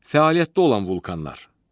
Fəaliyyətdə olan vulkanlar.